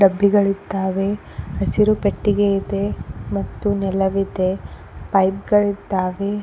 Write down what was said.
ಡಬ್ಬಿ ಗಳಿದ್ದಾವೆ ಹಸಿರು ಪೆಟ್ಟಿಗೆ ಇದೆ ಮತ್ತು ನೆಲವಿದೆ ಪೈಪ್ ಗಳಿದ್ದಾವೆ.